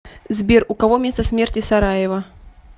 сбер у кого место смерти сараево